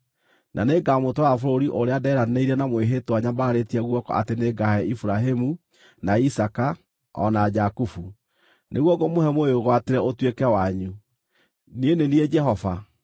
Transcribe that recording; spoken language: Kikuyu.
Na nĩngamũtwara bũrũri ũrĩa ndeeranĩire na mwĩhĩtwa nyambararĩtie guoko atĩ nĩngaahe Iburahĩmu, na Isaaka, o na Jakubu. Nĩguo ngũmũhe mũwĩgwatĩre ũtuĩke wanyu. Niĩ nĩ niĩ Jehova.’ ”